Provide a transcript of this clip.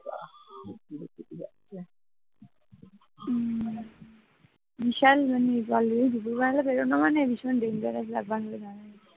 হম বিশাল ব্যাপার দুপুরে বাইরে বেড়ানো মানে বিশাল denger ব্যাপার হয়ে দাঁড়ায়